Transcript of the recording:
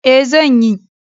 E, zan yi.